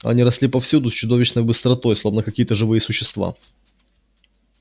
они росли повсюду с чудовищной быстротой словно какие-то живые существа